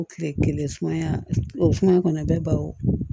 O kile kelen sumaya o sumaya kɔni a bɛ baro